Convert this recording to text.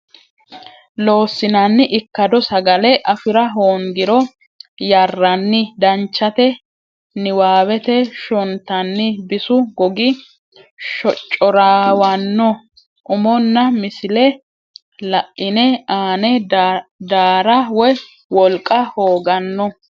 Loossinanni Ikkado sagale afi ra hoongiro yarranni Danchate niwaawete shontanni bisu gogi shoccoorraawanno umonna misile la ine aane daara woy wolqa hooganno.